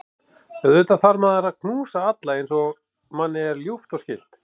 Auðvitað þarf maður að knúsa alla eins og manni er ljúft og skylt.